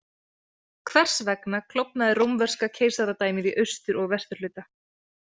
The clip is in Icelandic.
Hvers vegna klofnaði Rómverska keisaradæmið í austur- og vesturhluta?